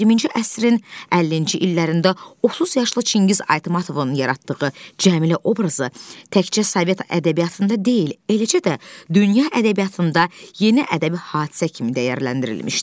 20-ci əsrin 50-ci illərində 30 yaşlı Çingiz Aytmatovun yaratdığı Cəmilə obrazı təkcə sovet ədəbiyyatında deyil, eləcə də dünya ədəbiyyatında yeni ədəbi hadisə kimi dəyərləndirilmişdi.